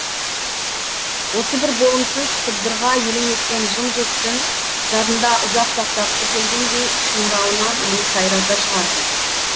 осы бір болымсыз сыбдырға елең еткен жым жырт түн жадында ұзақ сақтағысы келгендей шыңырауынан оны сайрата шығарды